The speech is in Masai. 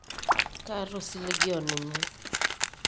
kaata osiligi oninye